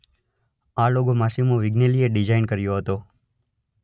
આ logo Massimo વિગ્નેલીએ design કર્યો હતો.